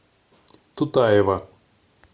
тутаева